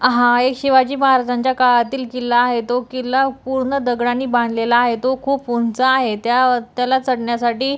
हा एक शिवाजी महाराजांच्या काळातील किल्ला आहे तो किल्ला पूर्ण दगडांनी बांधलेला आहे तो खूप उंच आहे त्या त्याला चढण्यासाठी--